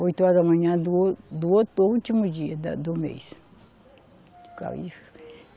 Oito horas da manhã do ou, do outro último dia da, do mês.